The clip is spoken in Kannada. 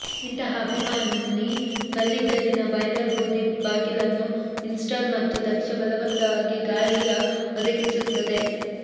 ಇಂತಹ ಅಭಿಮಾನಿ ಕಲ್ಲಿದ್ದಲಿನ ಬಾಯ್ಲರ್ ಬೂದಿ ಬಾಗಿಲನ್ನು ಇನ್ಸ್ಟಾಲ್ ಮತ್ತು ದಕ್ಷ ಬಲವಂತವಾಗಿ ಗಾಳಿಯ ಒದಗಿಸುತ್ತದೆ